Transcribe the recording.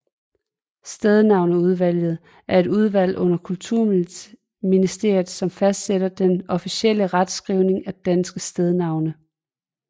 Stednavneudvalget er et udvalg under Kulturministeriet som fastsætter den officielle retskrivning af danske stednavne